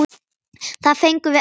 Það fengum við alltaf.